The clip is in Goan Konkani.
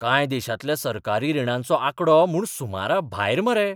कांय देशांतल्या सरकारी रिणांचो आंकडो म्हूण सुमराभायर मरे.